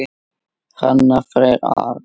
Hrannar Freyr Arason.